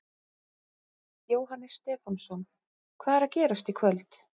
Jóhannes Stefánsson: Hvað er að gerast í kvöld?